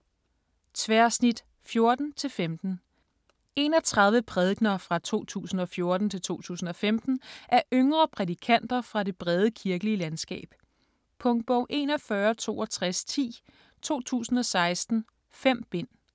Tværsnit '14 -'15 31 prædikener fra 2014-2015 af yngre prædikanter fra det brede kirkelige landskab. Punktbog 416210 2016. 5 bind.